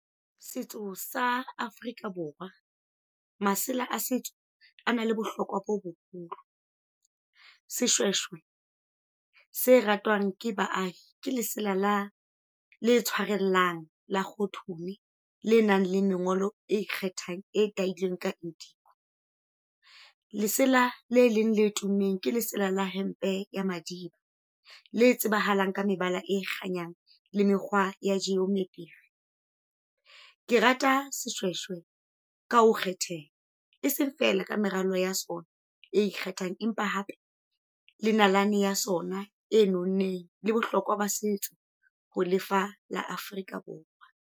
Setso sa Afrika Borwa. Masela a setso ana le bohlokwa bo boholo. Seshweshwe se ratwang ke baahi ke lesala la , le tshwarellang la kgothu le nang le mengolo e ikgethang e tailweng ka . Lesela le leng le tummeng ka lesela la hempe ya Madiba. Le tsebahalang ka mebala e kganyang le mekgwa ya ke rata seshweshwe ka ho kgetheha. E seng feela ka meralo ya sona, e ikgethang. Empa hape le nalane ya sona e nonneng le bohlokwa ba setso ho le fa la Afrika Borwa.